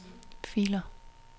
filer